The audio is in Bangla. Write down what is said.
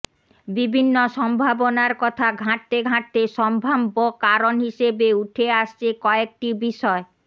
বিভিন্ন সম্ভাবনার কথা ঘাঁটতে ঘাঁটতে সম্ভাব্য কারণ হিসেবে উঠে আসছে কয়েকটি বিষয়